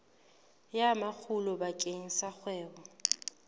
ya makgulo bakeng sa kgwebo